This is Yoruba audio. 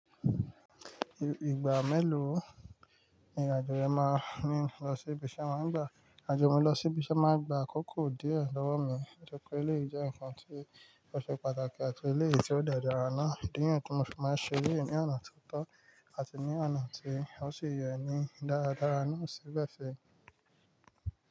Ìgbà mélòó ni ìrìn àjò rẹ máa ní lọ sí ibi tí ẹ máa ń gba? Ìrìn àjò mi lọ sí ibi tí ẹ máa ń gba akókó díẹ̀ lọ́wọ́ mi nítorí pé ilé yìí jẹ́ ǹkan tí ó ṣe pàtàkì àti ilé yìí tí ó de dára náà. I. Díẹ̀ ni ye tí mo fẹ́ máa ṣe, èlé ní ọ̀nà tó tọ́ àti ní ọ̀nà tí ó sì yẹ ní dáradára náà síbẹ̀ sì.